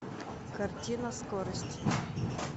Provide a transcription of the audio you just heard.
картина скорость